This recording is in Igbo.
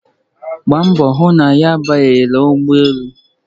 Gbaa mbọ hụ na ị Abanyela n'ụgbọelu!